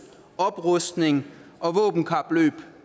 oprustning og et våbenkapløb